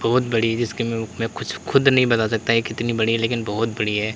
बहुत बड़ी जिसके में कुछ खुद नहीं बता सकता ये कितनी बड़ी है लेकिन बहोत बड़ी है।